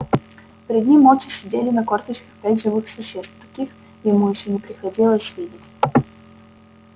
перед ним молча сидели на корточках пять живых существ таких ему ещё не приходилось видеть